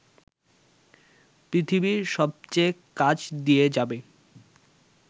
পৃথিবীর সবচেয়ে কাছ দিয়ে যাবে